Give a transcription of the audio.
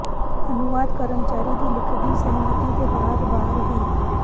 ਅਨੁਵਾਦ ਕਰਮਚਾਰੀ ਦੀ ਲਿਖਤੀ ਸਹਿਮਤੀ ਦੇ ਬਾਅਦ ਬਾਹਰ ਹੀ